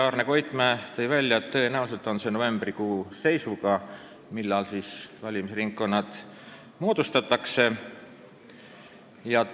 Arne Koitmäe tõi välja, et tõenäoliselt moodustatakse valimisringkonnad novembrikuu seisuga.